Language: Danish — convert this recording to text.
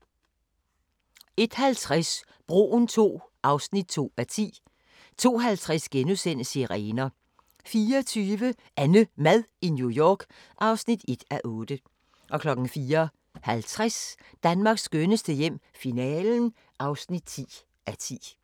01:50: Broen II (2:10) 02:50: Sirener * 04:20: AnneMad i New York (1:8) 04:50: Danmarks skønneste hjem - finalen (10:10)